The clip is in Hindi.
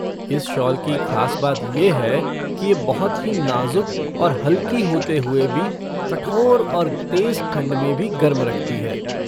इस शॉल की ख़ास बात ये है कि ये बहुत ही नाज़ुक और हल्की होते हुए भी कठोर और तेज़ ठंड में भी गर्म रखती है।